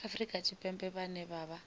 afrika tshipembe vhane vha vha